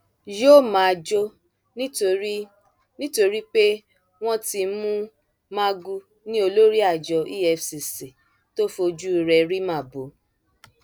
yóò máa jó nítorí nítorí pé wọn ti mú magu ni olórí àjọ efcc tó fojú rẹ rí màbo